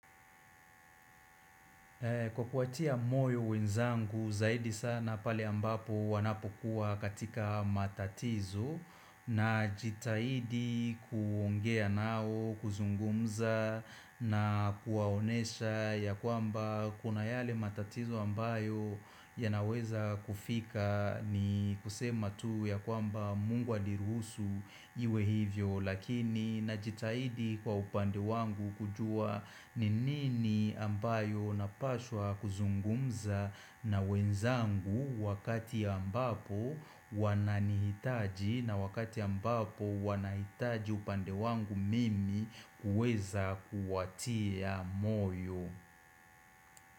Kwa kuwatia moyo wenzangu zaidi sana pale ambapo wanapokuwa katika matatizo najitahidi kuongea nao kuzungumza na kuwaonesha ya kwamba kuna yale matatizo ambayo ya naweza kufika ni kusema tu ya kwamba mungu aliruhusu iwe hivyo. Lakini najitahidi kwa upande wangu kujua ni nini ambayo napaswa kuzungumza na wenzangu wakati ambapo wananihitaji na wakati ambapo wanahitaji upande wangu mimi kuweza kuwatia moyo.